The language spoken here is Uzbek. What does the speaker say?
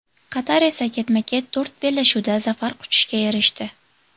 Qatar esa ketma-ket to‘rt bellashuvda zafar quchishga erishdi.